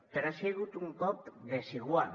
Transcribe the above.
però ha sigut un cop desigual